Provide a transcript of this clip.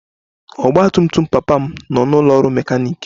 Ọgba tum tum papa m nọ n'ụlọ ọrụ mekaniiki